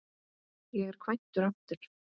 Ég er kvæntur aftur.